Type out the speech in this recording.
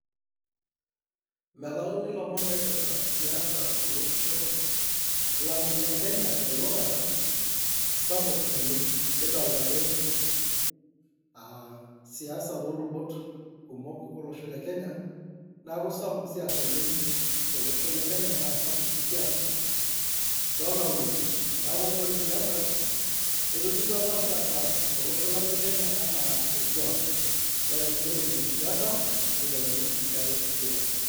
Melayuni ilomon oipirta siasa tolosho lang le Kenya telulungata sapuk naleng kidolta ake aa siasa toolubot kumok olosho le Kenya ,niaku sapuk siasa tolosho le Kenya naa sapuk sii siasa too nkaulele . niaku ore siasa etotiu apa siasa tolosho lang le Kenya anaa orkwak, ore eidipi siasa neiteruni enkae siasa.